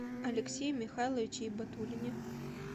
алексее михайловиче ибатуллине